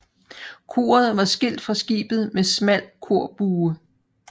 Koret var skilt fra skibet med smal korbue